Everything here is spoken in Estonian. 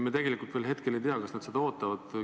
Me tegelikult veel hetkel ei tea, kas nad seda ootavad või mitte.